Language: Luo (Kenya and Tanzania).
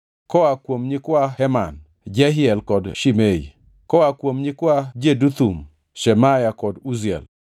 koa kuom nyikwa Heman, Jehiel kod Shimei; koa kuom nyikwa Jeduthun, Shemaya kod Uziel.